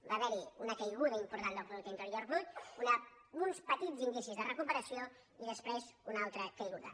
hi va haver una caiguda important del producte interior brut uns petits indicis de recuperació i després una altra caiguda